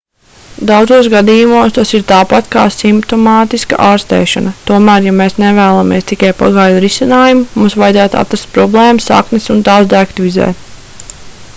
daudzos gadījumos tas ir tāpat kā simptomātiska ārstēšana tomēr ja mēs nevēlamies tikai pagaidu risinājumu mums vajadzētu atrast problēmu saknes un tās deaktivizēt